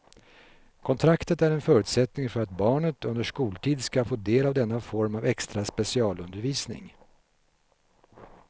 Kontraktet är en förutsättning för att barnet under skoltid ska få del av denna form av extra specialundervisning.